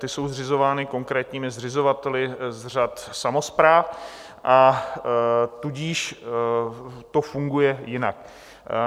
Ty jsou zřizovány konkrétními zřizovateli z řad samospráv, a tudíž to funguje jinak.